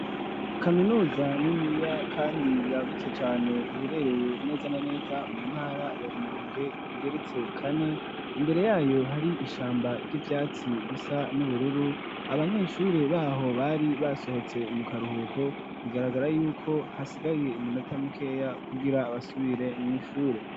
Kaminuza niniya kandi yagutse cane iherereye neza na neza mu ntara ya Rumonge Igeretse kane, imbere yayo hari ishamba ry'ivyatsi bisa n'ubururu, abanyeshure baho bari basohotse mu karuhuko bigaragara yuko hasigaye iminota mukeya kugira abasubire mw'ishure.